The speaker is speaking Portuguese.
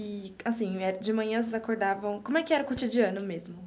E, assim, de manhã vocês acordavam, como é que era o cotidiano mesmo?